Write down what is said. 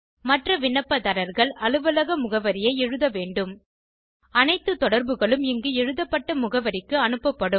மற்ற விண்ணப்பதாரர்கள் அலுவலக முகவரியை எழுத வேண்டும் அனைத்து தொடர்புகளும் இங்கு எழுதப்பட்ட முகவரிக்கு அனுப்பப்படும்